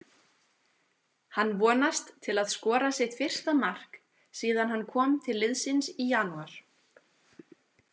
Hann vonast til að skora sitt fyrsta mark síðan hann kom til liðsins í janúar.